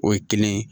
O ye kelen ye